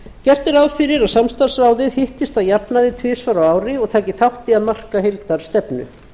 gert er ráð fyrir að samstarfsráðið hittist að jafnaði tvisvar á ári og taki þátt í að marka heildarstefnu